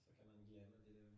Så kan man blive af med det der